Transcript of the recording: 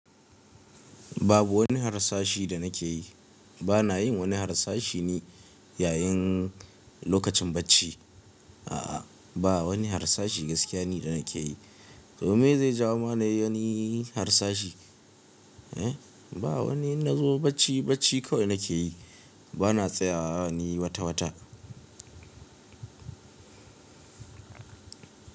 Babu wani harsashi danakeyi, bana yin wani harsashi ni ya yin lokacin bacci. A'a, ba wani harsashi gaskiya ne da nake yi. Domin zai jawo mana wani harsashi. Eh, ba wani na zo bacci bacci kawai nake yi. Ba na tsaya ne wata wata.